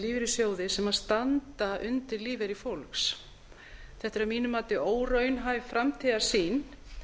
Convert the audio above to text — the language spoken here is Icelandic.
lífeyrissjóði sem standa undir lífeyri fólks þetta er að mínu mati óraunhæf framtíðarsýn